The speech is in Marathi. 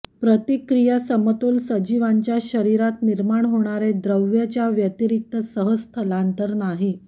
प्रतिक्रिया समतोल सजीवांच्या शरीरात निर्मार्ण होणारे द्रव्य च्या व्यतिरिक्त सह स्थलांतर नाही